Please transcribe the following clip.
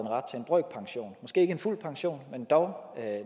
ret til en brøkpension måske ikke en fuld pension men dog